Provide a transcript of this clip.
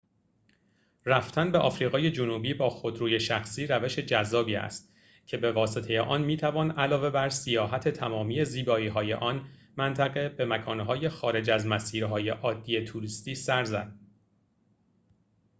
رفتن به آفریقای جنوبی با خودروی شخصی روش جذابی است که به واسطه آن می‌توان علاوه بر سیاحت تمامی زیبایی‌های آن منطقه به مکان‌های خارج از مسیرهای عادی توریستی سر زد